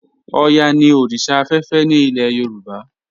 Ọ̀yá ni oríṣà afẹ́fẹ́ ni ilẹ̀ Yorùbá.